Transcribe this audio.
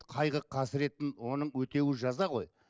қайғы қасіреттің оның өтеуі жаза ғой